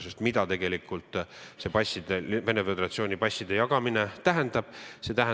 Sest mida tegelikult see Venemaa Föderatsiooni passide jagamine tähendab?